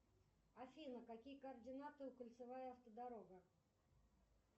афина какие координаты у кольцевая автодорога